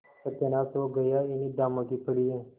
सत्यानाश हो गया इन्हें दामों की पड़ी है